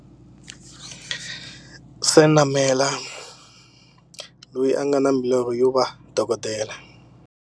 Senamela, loyi a nga na milorho yo va dokodela.